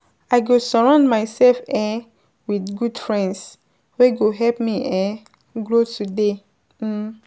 I go surround myself um with good friends wey go help me um grow today. um